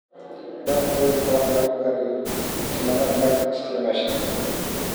Dhaq weelka wax lagu kariyo isla markaad isticmaashit.